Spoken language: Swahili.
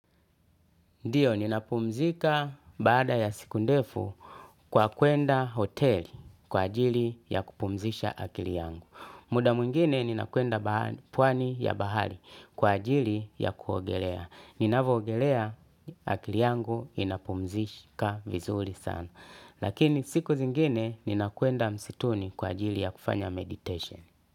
Ndio, ninapumzika baada ya siku ndefu kwa kuenda hotel kwa ajili ya kupumzisha akili yangu. Muda mwingine ninakwenda pwani ya bahari kwa ajili ya kuogelea. Ninavyoogelea akili yangu inapumzika vizuri sana. Lakini siku zingine ninakwenda msituni kwa ajili ya kufanya meditation.